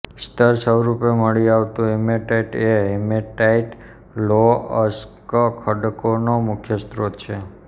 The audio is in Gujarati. સ્તરસ્વરૂપે મળી આવતું હિમેટાઇટ એ હિમેટાઇટ લોહ અયસ્ક ખડકોનો મુખ્ય સ્ત્રોત છે